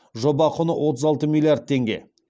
жоба құны отыз алты миллиард теңге